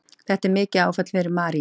Þetta var mikið áfall fyrir Marie.